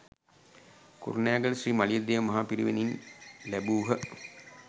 කුරුණෑගල ශ්‍රී මලියදේව මහ පිරිවෙනින් ලැබූහ.